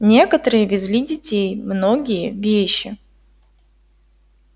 некоторые везли детей многие вещи